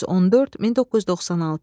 1914-1996.